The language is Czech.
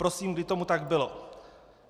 Prosím, kdy tomu tak bylo?